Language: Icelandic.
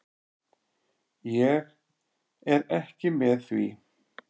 Ég er ekki með því.